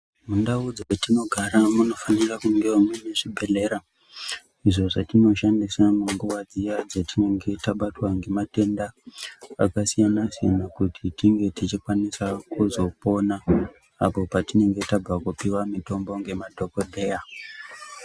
Mundau dzetinogara munofanira kungewo muine zvibhehlera, izvo zvatinoshandisa munguva dziya dzatinonge tabatwa ngematenda akasiyana-siyana kuti tinge tichikwanisa kuzopona apo patinenge tabva kupiwa mitombo ngemadhogodheya.